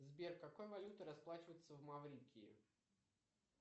сбер какой валютой расплачиваются в маврикии